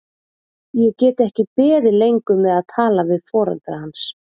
Ég get ekki beðið lengur með að tala við foreldra hans.